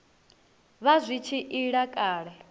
vha zwi tshi ila kale